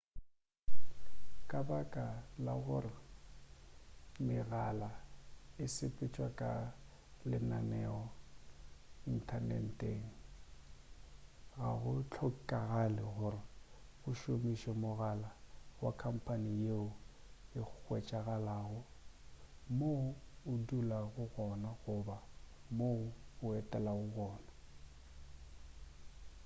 ka baka la gore megala e sepetšwa ka lenaneo inthaneteng ga go hlokagale gore o šomiše mogala wa khamphane yeo e hwetšagalago mo o dulago gona goba mo o etelago gona